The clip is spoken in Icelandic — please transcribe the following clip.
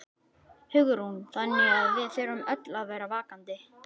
Hugrún: Þannig að við þurfum öll að vera vakandi?